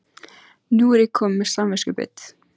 Nú er ég komin með samviskubit.